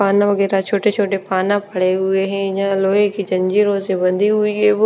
वगैरह छोटे छोटे पड़े हुए हैं यहाँ लोहे कि जंजीरों से बंधी हुई है वो --